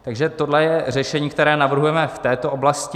Takže tohle je řešení, které navrhujeme v této oblasti.